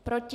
Proti?